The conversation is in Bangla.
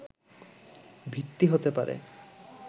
ভিত্তি হতে পারে